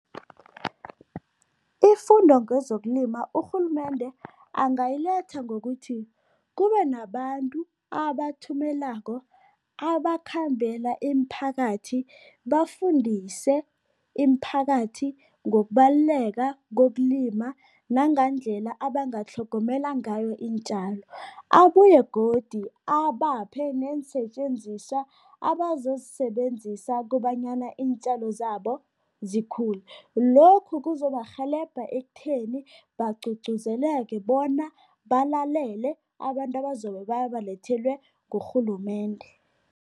Ifundo ngezokulima, urhulumende angayiletha ngokuthi kube nabantu abathumelako abakhambela imiphakathi, bafundise imiphakathi ngokubaluleka kokulima nangendlela abangatlhogomela ngayo iintjalo, abuye godu abaphe neensetjenziswa abazozisebenzisa kobanyana iintjalo zabo zikhule. Lokhu kuzobarhelebha ekutheni bagcugcuzeleke bona balalele abantu abazobe babalethelwe ngurhulumende.